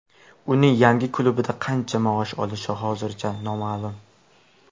Uning yangi klubida qancha maosh olishi hozircha noma’lum.